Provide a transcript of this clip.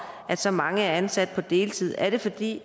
at så mange er ansat på deltid er det fordi